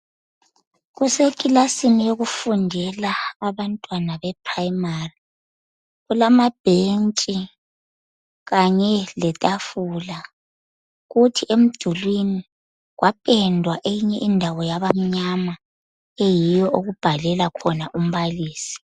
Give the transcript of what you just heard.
Kusekilasini yokufundela abantwana be primary. Kulamabhentshi kanye letafula kuthi emdulini kwapendwa eyinye indawo yabamnyama eyiyo okubhalela khona. umbalisi.